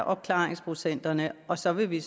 opklaringsprocenterne er og så vil vi